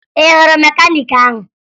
Ị hụrụ mekaniiki ahụ?